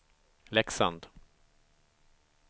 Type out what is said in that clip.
Leksand